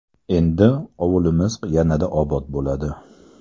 Endi ovulimiz yanada obod bo‘ladi.